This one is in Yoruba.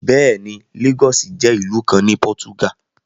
Bẹ́ẹ̀ ni, láọ́sì jẹ́ ìlú kan ní pọ́túgà.